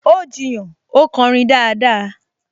Ó jiyàn, 'ó kọrin dáadáa!